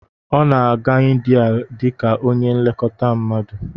Ọ na-aga India dị ka onye nlekọta mmadu